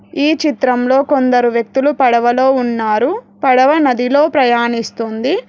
ఈ చిత్రంలో కొందరు వ్యక్తులు పడవలో ఉన్నారు. పడవ నదిలో ప్రయాణిస్తుంది.